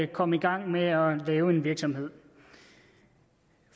komme i gang med at lave en virksomhed